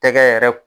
Tɛgɛ yɛrɛ